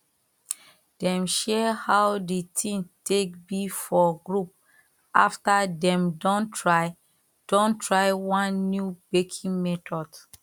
dem share how the thing take be for group after dem don try don try one new baking method